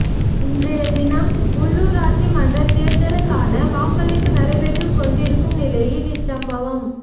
இன்றைய தினம் உள்ளுராட்சி மன்றத் தேர்தல்களுக்கான வாக்களிப்பு நடைபெற்றுக் கொண்டிருக்கும் நிலையில் இச்சம்பவம்